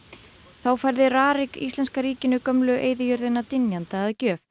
þá færði RARIK íslenska ríkinu gömlu eyðijörðina dynjanda að gjöf